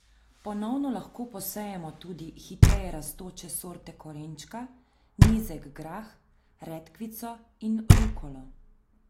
Ponovno lahko posejemo tudi hitreje rastoče sorte korenčka, nizek grah, redkvico in rukolo.